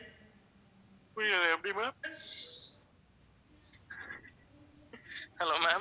புரியல எப்படி ma'am hello ma'am